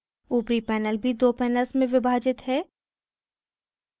ऊपरी panel भी दो panels में विभाजित है